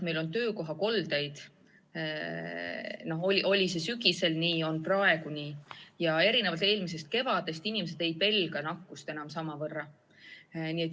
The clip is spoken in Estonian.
Meil on töökohakoldeid – see oli sügisel nii ja on praegu nii –, aga erinevalt eelmisest kevadest ei pelga inimesed nakkust enam samavõrra.